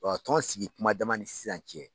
tɔn sigi kuma dama ni sisan cɛ